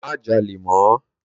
Mà jàlẹ mọ!